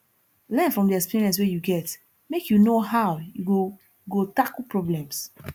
learn from di experience wey you get make you know how you go go tackle problems